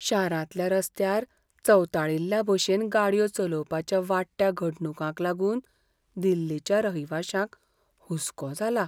शारांतल्या रस्त्यांर चवताळिल्लेभशेन गाडयो चलोवपाच्या वाडट्या घडणुकांक लागून दिल्लीच्या रहिवाशांक हुसको जाला.